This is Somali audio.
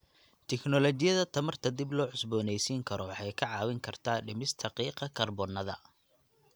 Tiknoolajiyadda tamarta dib loo cusbooneysiin karo waxay ka caawin kartaa dhimista qiiqa kaarboon-da.